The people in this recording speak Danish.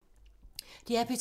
DR P2